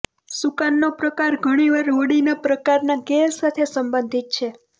સુકાનનો પ્રકાર ઘણીવાર હોડીના પ્રકારનાં કેલ સાથે સંબંધિત છે